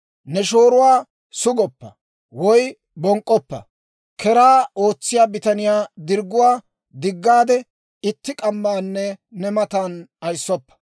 « ‹Ne shooruwaa sugoppa; woy bonk'k'oppa. « ‹Keraa ootsiyaa bitaniyaa dirgguwaa diggaade, itti k'ammaanne ne matan ayissoppa.